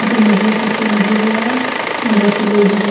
अठन है जैको छतो लागेड़ो है और घासडॉ उग्गीडॉ है।